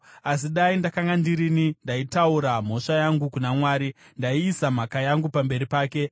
“Asi dai ndakanga ndirini, ndaiturira mhosva yangu kuna Mwari; ndaiisa mhaka yangu pamberi pake.